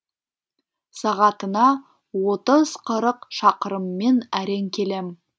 сағатына отыз қырық шақырыммен әрең келем